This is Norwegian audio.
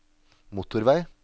motorvei